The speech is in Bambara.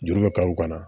Juru bɛ ka o kana